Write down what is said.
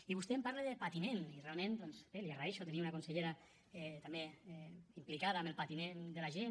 i vostè em parla de patiment i realment doncs li agraeixo tenir una consellera també implicada en el patiment de la gent